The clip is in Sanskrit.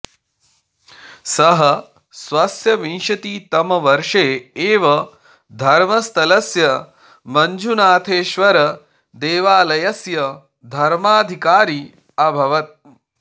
सः स्वस्य विंशतितम वर्षे एव धर्मस्थलस्य मञ्जुनाथेश्वर देवालयस्य धर्माधिकारी अभवत्